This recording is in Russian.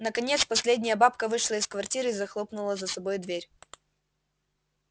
наконец последняя бабка вышла из квартиры и захлопнула за собой дверь